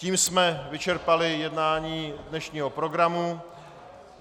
Tím jsme vyčerpali jednání dnešního programu.